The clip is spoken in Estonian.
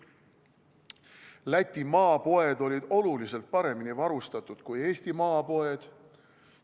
Läti maapoed olid oluliselt paremini varustatud kui Eesti maapoed.